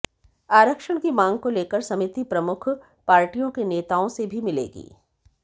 आरक्षण की मांग को लेकर समिति प्रमुख पार्टियों के नेताओं से भी मिलेगी